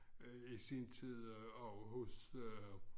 Øh i sin tid over hos øh